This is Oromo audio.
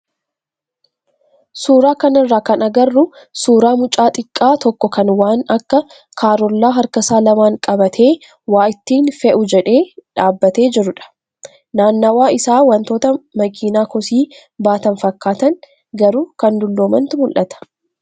Suuraa kanarraa kan agarru suuraa mucaa xiqqaa tokkoo kan waan akka karollaa harkasaa lamaan qabatee waa ittiin fe'uu jedhee dhaabbatee jirudha. Naannawaa isaa wantoota makiinaa kosii baatan fakkaatan garuu kan dulloomantu mul'ata.